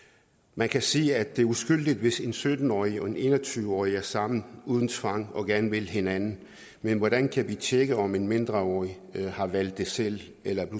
man kan sige at det er uskyldigt hvis en sytten årig og en en og tyve årig er sammen uden tvang og gerne vil hinanden men hvordan kan vi tjekke om en mindreårig har valgt det selv eller er